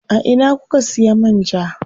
A ina kuka siya man ja?